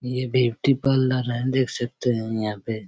ये beauty parlour हैं देख सकते हैं यहाँ पे--